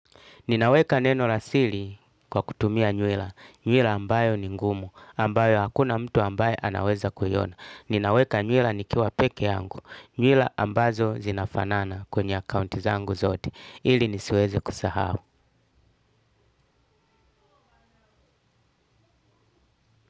Ninaweka neno la siri kwa kutumia nywila. Nywila ambayo ni ngumu. Ambayo hakuna mtu ambaye anaweza kuiona. Ninaweka nywila nikiwa peke yangu. Nywila ambazo zinafanana kwenye akounti zangu zote. Ili nisiweze kusahau.